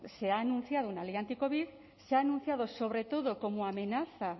se ha anunciado una ley anticovid se ha anunciado sobre todo como amenaza